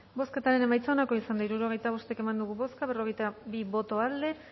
bozketaren emaitza onako izan da hirurogeita bost eman dugu bozka berrogeita bi boto aldekoa